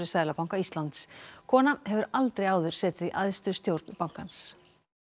Seðlabanka Íslands kona hefur aldrei áður setið í æðstu stjórn bankans